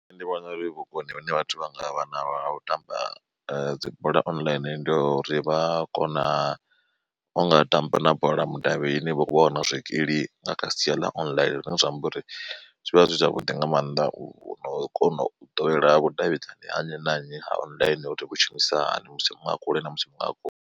Nṋe ndi vhona uri vhukoni hune vhathu vha nga vha vhanaho ha tamba dzibola online ndi uri vha kona unga tamba na bola mudavhini vha wana zwikili nga kha sia ḽa online zwine zwa amba uri zwi vha zwi zwavhuḓi nga maanḓa u no kona u ḓowela vhudavhidzani ha nnyi na nnyi ha online uri vhu shumisa hani musi muṅwe a kule na musi muṅwe a kule.